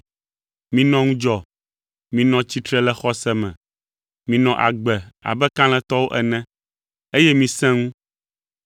Minɔ ŋudzɔ, minɔ tsitre le xɔse me. Minɔ agbe abe kalẽtɔwo ene, eye misẽ ŋu.